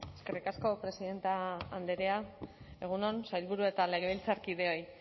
eskerrik asko presidente andrea egun on sailburu eta legebiltzarkideoi